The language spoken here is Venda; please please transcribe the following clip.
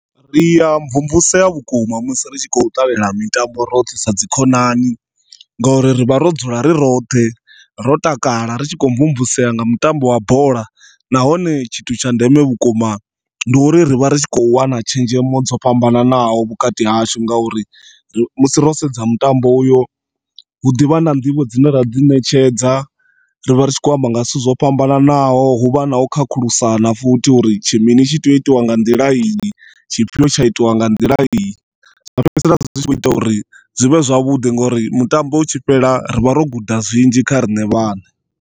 Ria mvumvusea vhukuma musi ri tshi kho ṱalela mitambo roṱhe sa dzi khonani ngori rivha ro dzula ri roṱhe ro takala ritshi kho mvumvusea nga mutambo wa bola, nahone tshithu tsha ndeme vhukuma ndi uri rivha ri kho wana tshenzhemo dzo fhambananaho vhukati hashu ngauri ro sedza mutambo uyo huḓivha na nḓivho dzine ra dzi ṋetshedza rivha ritshi kho amba nga zwithu zwo fhambananaho huvha na u khakhulusana futhi uri tshi mini tshi tea u itwa nga nḓila iyi, tshifhio tsha itwa nga nḓiya iyi. Zwa fhedzisela zwitshi kho ita uri zwivhe zwavhuḓi ngori mutambo utshi fhela rivha ro guda zwinzhi kha riṋe vhaṋe.